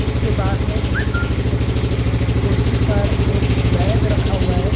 उसके पास में एक कुर्सी रखी हुई है कुर्सी पर एक बैग रखा हुआ है।